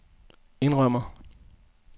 indrømmer